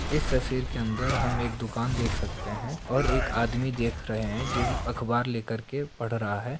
इस तस्वीर के अंदर हम एक दुकान देख सकते हैं और एक आदमी देख रहे हैं जिस अखबार लेकर के पढ़ रहा है।